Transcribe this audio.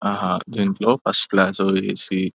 ఆహా దీంట్లో first class AC --